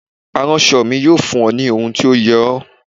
Aránṣọ mi yóò fún ọ ní ohun tó yẹ ọ.